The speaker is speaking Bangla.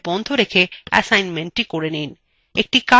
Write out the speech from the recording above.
এই tutorial সাময়িকভাবে বন্ধ করে এই কাজটি করে নিন